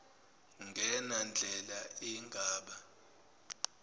ngen dlela engaba